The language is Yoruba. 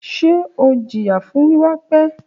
Ṣe o jiya fun wiwa pẹ?